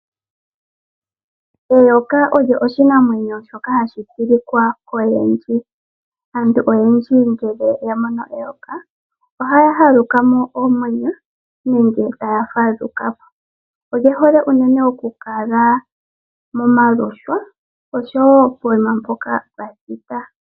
Eyoka olyo oshinamwenyo shoka hashi tilika koyendji. Aantu oyendji ngele yamono eyoka, ohaya nukamo oomwenyo nenge taya fadhukapo. Olihole oku kala miihwa oshowo poima mpoka pwathita.